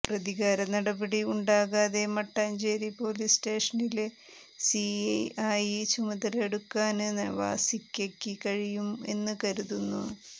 പ്രതികാര നടപടി ഉണ്ടാകാതെ മട്ടാഞ്ചേരി പോലീസ് സ്റ്റേഷനില് സി ഐ ആയി ചുമതല ഏറ്റെടുക്കാന് നവാസിക്കയ്ക്ക് കഴിയും എന്ന് കരുതുന്നു